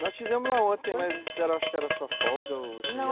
Nós fomos lá ontem, mas eu acho que era a sua folga, não, ou seria a noite?